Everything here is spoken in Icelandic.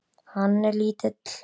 Hann er lítill.